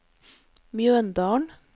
Mjøndalen